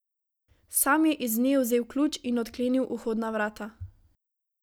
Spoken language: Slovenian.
Sam je iz nje vzel ključ in odklenil vhodna vrata.